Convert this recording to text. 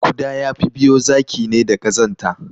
Kuda yafi biyo zaki ne da Ƙazanta